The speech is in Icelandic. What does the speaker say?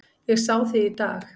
Ég sá þig í dag